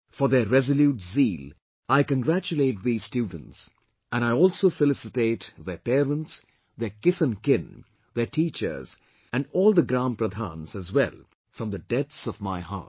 For their resolute zeal I congratulate these students and I also felicitate their parents, their kith and kin, their teachers and all the Gram Pradhans as well from the depths of my heart